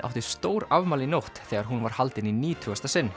átti stórafmæli í nótt þegar hún var haldin í nítugasta sinn